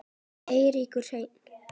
Eiríkur Hreinn.